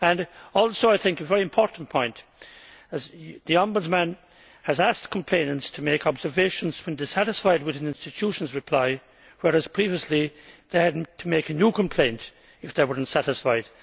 I also think this is a very important point the Ombudsman has asked complainants to make observations when dissatisfied with an institution's reply, whereas previously they had to make a new complaint if they were not satisfied.